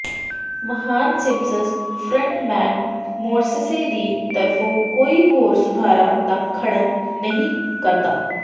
ਮਹਾਨ ਸਿਮੰਸਜ਼ frontman Morrissey ਦੀ ਤਰਫੋਂ ਕੋਈ ਹੋਰ ਸੁਧਾਰਾਂ ਦਾ ਖੰਡਨ ਨਹੀਂ ਕਰਦਾ